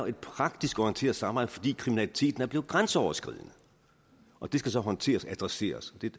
et praktisk orienteret samarbejde fordi kriminaliteten er blevet grænseoverskridende og det skal så håndteres og adresseres